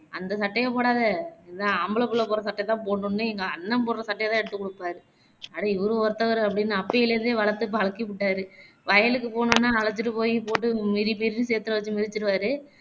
அந்த சட்டைய போடாத இந்த ஆம்பள பிள்ளை போட்ற சட்டையதான் போடணும்னு எங்க அண்ணன் போட்ற சட்டையதான் எடுத்து கொடுப்பாரு அட இவரு வேர ஒருத்தவரு அப்படின்னு அப்பயிலே இருந்து வளர்த்து பழக்கிப்புட்டாரு வயலுக்கு போனோம்னா அழைச்சுட்டு போய் போட்டு மிதி மிதின்னு சேர்த்துவச்சு மிதிச்சுருவாரு